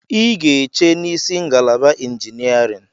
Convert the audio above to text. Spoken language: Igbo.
I ga-eche n'isi ngalaba injiniarịn!